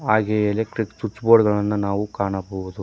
ಹಾಗೆಯೇ electric switch board ಗಳನು ಕಾಣಬಹುದು.